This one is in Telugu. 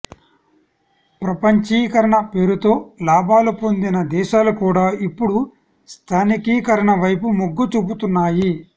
ప్రపంచీకరణ పేరుతో లాభాలు పొందిన దేశాలు కూడా ఇప్పుడు స్థానికీకరణ వైపు మొగ్గు చూపుతున్నాయి